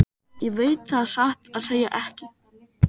Ég veit það satt að segja ekki.